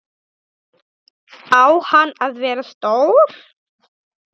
Á hann að vera stór?